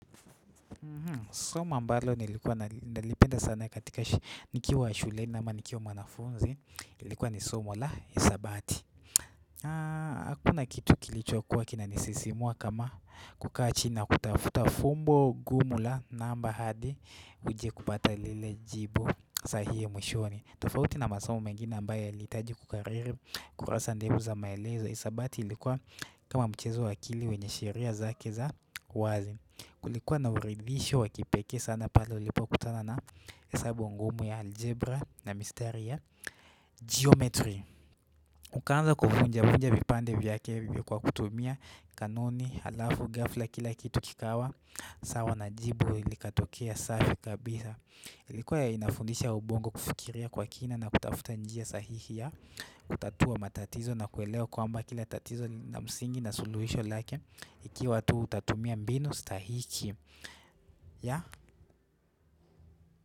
Somo ambalo nilikuwa nalipenda sana nikiwa shuleni, nikiwa mwanafunzi. Ilikuwa ni somo la hisabati hakuna kitu kilichokuwa kinanisisimua kama kukaa chini kutafuta fumbo gumu la namba hadi uje kupata lile jibu sahihi mwishoni. Tofauti na masomo mengine ambayo yalihitaji kukariri kurasa ndefu za maelezo, hisabati ilikuwa kama mchezo wa akili wenye sheria zake za wazi. Kulikuwa na uridhisho wa kipekee sana pale ulipokutana na hesabu ngumu ya aljebra na mistari ya jiometri. Ukaanza kuvunja vunja vipande vya kebe kwa kutumia kanuni, halafu ghafla kila kitu kikawa sawa na jibu likatokea safi kabisa. Ilikuwa ya inafundisha ubongo kufikiria kwa kina na kutafuta njia sahihi kutatua matatizo na kuelewa kwamba kila tatizo lina msingi na suluhisho lake, ikiwa tu autatumia mbinu stahiki.